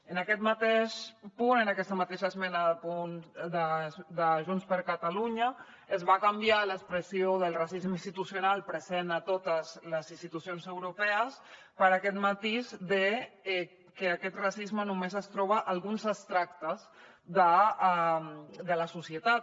en aquest mateix punt en aquesta mateixa esmena de junts per catalunya es va canviar l’expressió del racisme institucional present a totes les institucions europees per aquest matís de que aquest racisme només es troba a alguns extractes de la societat